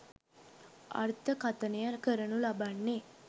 අර්ථකථනය කරනු ලබන්නේ.